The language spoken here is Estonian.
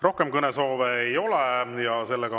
Rohkem kõnesoove ei ole.